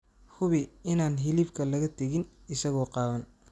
Hubi inaan hilibka laga tegin isagoo qaawan.